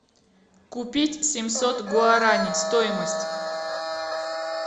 купить семьсот гуарани стоимость